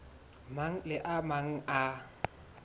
mang le a mang a